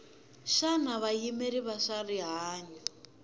xana vayimeri va swa rihanyu